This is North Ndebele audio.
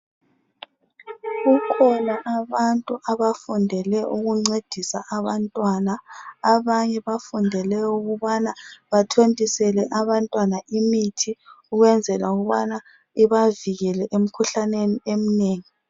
Kukhona abantu abafundele ukuncedisa abantwana abanye bafundele ukubana bathontisele abantwana imithi ukwenzela ukubana ibavikele emikhuhlaneni eminengi.